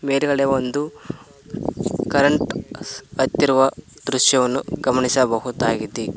ಮೇಲ್ಗಡೆ ಒಂದು ಕರೆಂಟ್ ಹತ್ತಿರುವ ದೃಶ್ಯವನ್ನು ಗಮನಿಸಬಹುದಾಗಿದೆ.